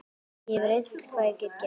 Ég hef reynt hvað ég get.